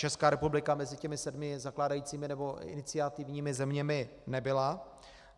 Česká republika mezi těmi sedmi zakládajícími nebo iniciativními zeměmi nebyla.